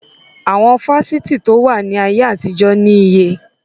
Àwọn Fásitì to wá ní ayé àtijọ́ ni iye.